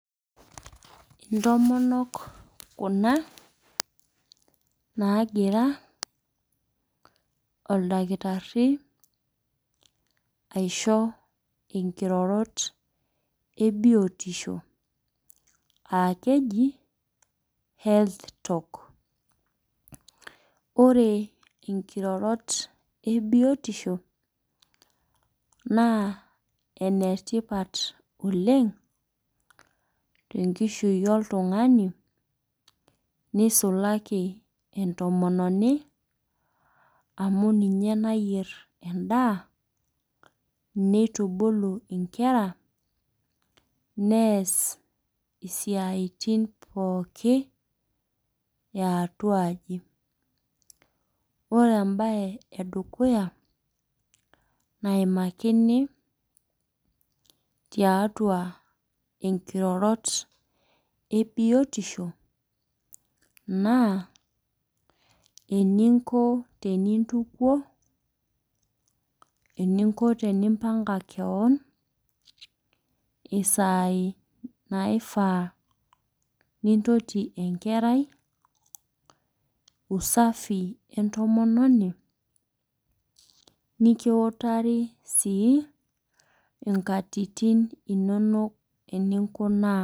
Intomonok kuna, naagira oldakitari aisho inkirorot e biotisho aa keji health talk. Ore inkirorot e biotisho naa ene tipat oleng' te enkishui oltung'anii , neisulaki entomononi amu ninye nayier endaa, neitubulu inkera neas isiaitin pookin e atuaji. Ore embaye e dukuya, naimakini tiatua inkirorot e biotisho naa eninko tenintukuo, eniko tenimpang'a kewon, isaii naishaa nintoti enkerai, usafi entomononi, nekiutari sii inkatitin inono eninkunaa.